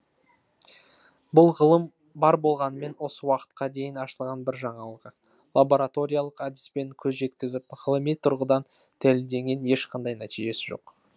бұл ғылым бар болғанымен осы уақытқа дейін ашылған бір жаңалығы лабораториялық әдіспен көз жеткізіп ғылыми тұрғыдан дәлелденген ешқандай нәтижесі жоқ